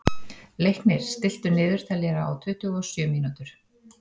Leiknir, stilltu niðurteljara á tuttugu og sjö mínútur.